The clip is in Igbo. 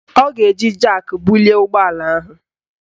Ọ ga-eji jak bulie ụgbọala ahụ